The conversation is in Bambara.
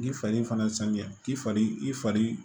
Ni fari fana ye san kɛ k'i fari i fari